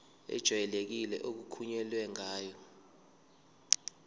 ejwayelekile okukhulunywe ngayo